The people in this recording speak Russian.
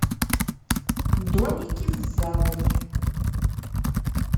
домики с заводи